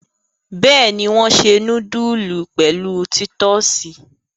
Bẹ́ẹ̀ni, wọ́n se núdúlù pẹ̀lú títọ́sì.